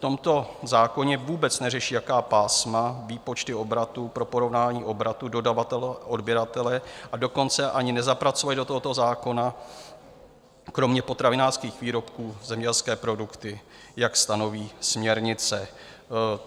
V tomto zákoně vůbec neřeší, jaká pásma, výpočty obratu pro porovnání obratu dodavatele, odběratele, a dokonce ani nezapracovali do tohoto zákona kromě potravinářských výrobků zemědělské produkty, jak stanoví směrnice.